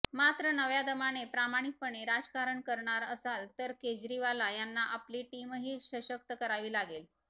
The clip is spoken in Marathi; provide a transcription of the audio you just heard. मात्र नव्या दमाने प्रामाणिकपणे राजकारण करणार असाल तर केजरीवाल यांना आपली टीमही सशक्त करावी लागेल